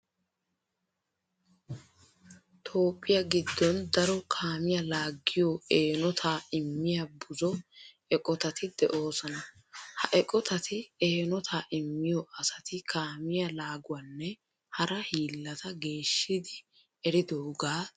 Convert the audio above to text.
Toophphiya giddon daro kaamiya laaggiyo eenotaa immiya buzo eqotati de'oosona. Ha eqotati eenotaa immiyo asati kaamiya laaguwanne hara hiillata geeshshidi eridogaa tillissana bessoosona.